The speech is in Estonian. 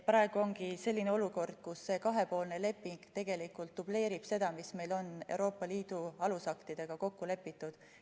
Praegu on selline olukord, kus see kahepoolne leping tegelikult dubleerib seda, mis meil on Euroopa Liidu alusaktidega kokku lepitud.